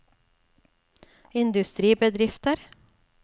industribedrifter